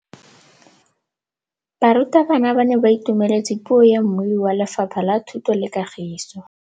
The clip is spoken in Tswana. Barutabana ba ne ba itumeletse puô ya mmui wa Lefapha la Thuto le Katiso.